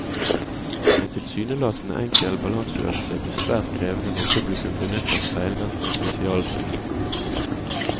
En tilsynelatende enkel balanseøvelse blir svært krevende når publikum benytter speilvendte spesialbriller.